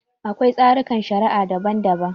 Akwai tsarikan shari'a daban-daban.